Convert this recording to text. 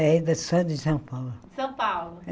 Era só de São Paulo. São Paulo